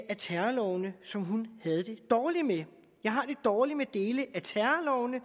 af terrorloven som hun havde det dårligt med jeg har det dårligt med dele af terrorlovene